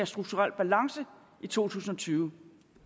strukturel balance i to tusind og tyve